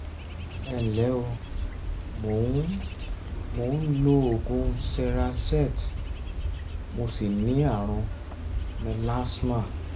ìbéèrè yìí jẹ́ yìí jẹ́ nípa ọkùnrin ẹni um ọdún méjìlélọ́gọ́ta kan (baba mi)